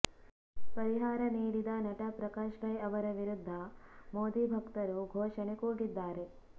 ಪರಿಹಾರ ನೀಡಿದ ನಟ ಪ್ರಕಾಶ ರೈ ಅವರ ವಿರುದ್ಧ ಮೋದಿ ಭಕ್ತರು ಘೋಷಣೆ ಕೂಗಿದ್ದಾರೆ